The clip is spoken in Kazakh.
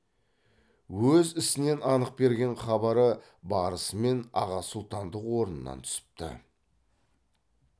өз ісінен анық берген хабары барысымен аға сұлтандық орнынан түсіпті